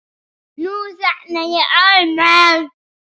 Nú þagnaði Ormur.